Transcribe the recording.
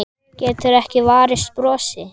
Getur ekki varist brosi.